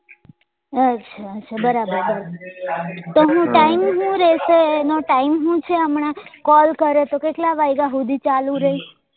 અચ્છા અચ્છા બરાબર બરાબર તો હું time હું રેસે એનો time હું છે હમણાં call કરો તો કેટલા વાગ્યા હુધી ચાલુ રેઇ